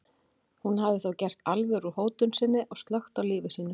Hún hafði þá gert alvöru úr hótun sinni og slökkt á lífi sínu.